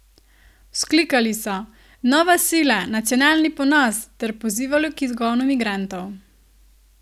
Vzklikali so: "Nova sila, nacionalni ponos" ter pozivali k izgonu migrantov.